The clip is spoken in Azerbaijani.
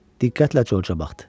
Diqqətlə Corca baxdı.